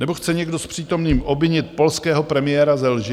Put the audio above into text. Nebo chce někdo z přítomných obvinit polského premiéra ze lži?